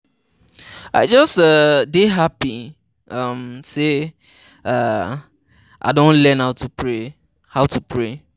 I just um dey happy um say um I don learn how to pray. how to pray.